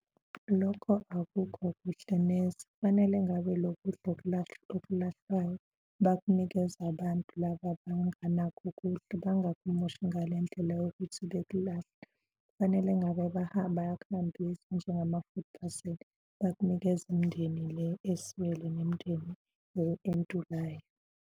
Lokho akukho kuhle neze kufanele ngabe lokudla okulahlwayo bakunikeza abantu laba abangenakho ukudla, bangakumoshi ngale ndlela yokuthi bekulahle. Kufanele ngabe bahamba bayakhangisa njengama-food parcel bakunikeze imindeni le eswele nemindeni or entulayo.